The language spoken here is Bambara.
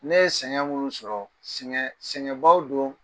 Ne ye sɛgɛn minnu sɔrɔ sƐgɛnbaw don